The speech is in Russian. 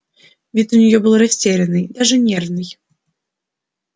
вид у нее был растерянный даже нервный